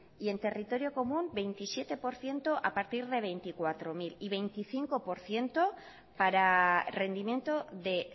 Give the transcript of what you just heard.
y en territorio común veintisiete por ciento a partir de veinticuatro mil y veinticinco por ciento para rendimiento de